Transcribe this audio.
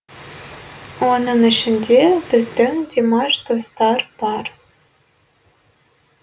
оның ішінде біздің димаш достар бар